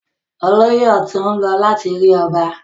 Olóyè ọ̀tún ń lọ láti rí ọba.